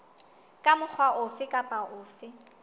ka mokgwa ofe kapa ofe